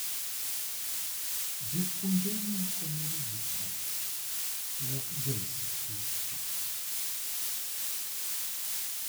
Jopuonjre moko ma wigi tek wuokga e skul chon.